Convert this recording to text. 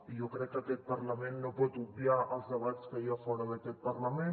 i jo crec que aquest parlament no pot obviar els debats que hi ha fora d’aquest parlament